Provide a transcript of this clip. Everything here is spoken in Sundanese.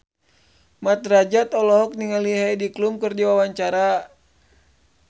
Mat Drajat olohok ningali Heidi Klum keur diwawancara